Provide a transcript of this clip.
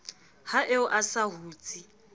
ha eo a sa hutse